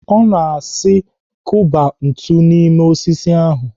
Ọ na-asi kụba ntu n'ime osisi ahụ.